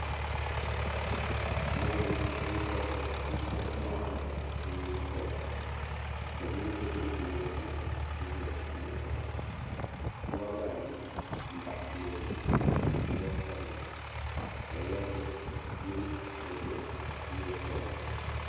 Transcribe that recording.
Mɔɣuni binkobri n chaŋ mɔɣulini n ti nyuri kom ka silimiinsi duhi bɛ loori na n ti zaya n lihiri ba wɔbri ayi mbaɣi loori maa wɔbsabla ka woliga mini o bihi nyuri kom.